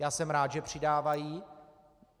Já jsem rád, že přidávají.